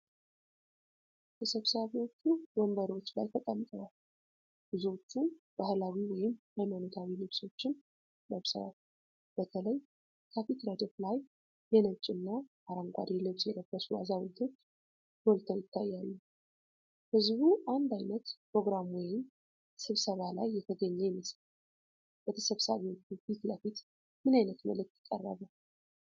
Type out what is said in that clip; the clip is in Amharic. ተሰብሳቢዎቹ ወንበሮች ላይ ተቀምጠዋል፤ ብዙዎቹም ባህላዊ ወይም ሃይማኖታዊ ልብሶችን ለብሰዋል። በተለይ ከፊት ረድፍ ላይ የነጭ እና አረንጓዴ ልብስ የለበሱ አዛውንቶች ጎልተው ይታያሉ። ህዝቡ አንድ ዓይነት ፕሮግራም ወይም ስብሰባ ላይ የተገኘ ይመስላል። በተሰብሳቢዎቹ ፊት ለፊት ምን ዓይነት መልእክት ቀረበ?